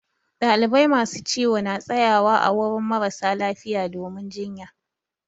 Dalibai masu ciwo na tsaƴawa ã wurin mara lafiya domin jiƴƴa.